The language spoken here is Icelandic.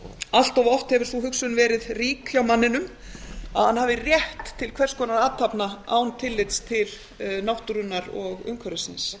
allt of oft hefur sú hugsun verið rík hjá manninum að hann hafi rétt til hvers konar athafna án tillits til náttúrunnar og umhverfisins